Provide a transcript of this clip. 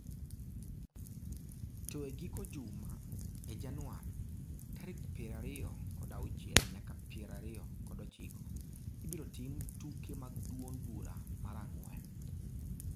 To e giko juma, e Januar 26-29, ibiro tim tuke mag duond bura mar ang'wen.